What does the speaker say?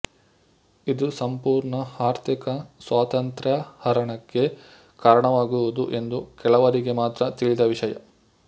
ಇದು ಸಂಪೂರ್ಣ ಆರ್ಥಿಕ ಸ್ವಾತಂತ್ರ್ಯ ಹರಣಕ್ಕೆ ಕಾರಣವಾಗುವುದು ಎಂದು ಕೆಲವರಿಗೆ ಮಾತ್ರ ತಿಳಿದ ವಿಷಯ